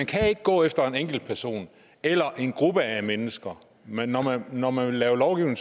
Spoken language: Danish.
kan gå efter en enkelt person eller en gruppe af mennesker men når man når man vil lave lovgivning